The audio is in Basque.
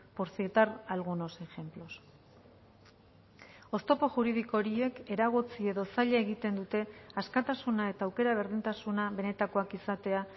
por citar algunos ejemplos oztopo juridiko horiek eragotzi edo zaila egiten dute askatasuna eta aukera berdintasuna benetakoak izatea